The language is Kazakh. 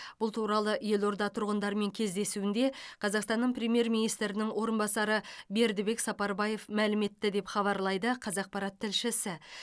бұл туралы елорда тұрғындарымен кездесуінде қазақстанның премьер министрінің орынбасары бердібек сапарбаев мәлім етті деп хабарлайды қазақпарат тілшісі